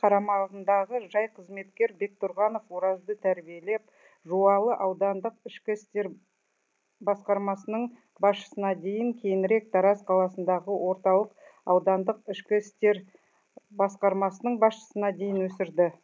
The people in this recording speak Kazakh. қарамағындағы жай қызметкер бектұрғанов оразды тәрбиелеп жуалы аудандық ішкі істер басқармасының басшысына дейін кейінірек тараз қаласындағы орталық аудандық ішкі істер басқармасының басшысына дейін өсірді